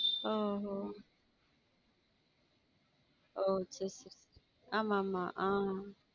ஒ ஒ okay ஆமா ஆமா ஆஹ்